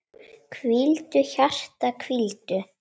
Hvíldu, hjarta, hvíldu.